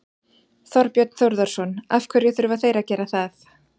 Þorbjörn Þórðarson: Af hverju þurfa þeir að gera það?